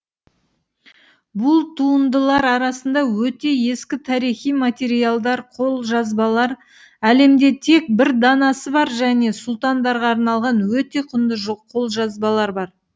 бұл туындылар арасында өте ескі тарихи материалдар қолжазбалар әлемде тек бір данасы бар және сұлтандарға арналған өте құнды қолжазбалар бар